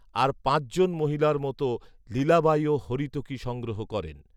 আর পাঁচজন মহিলার মতো, লীলাবাঈও হরীতকী সংগ্রহ করেন।